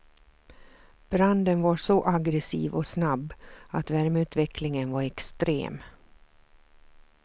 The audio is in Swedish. Branden var så aggressiv och snabb att värmeutvecklingen var extrem.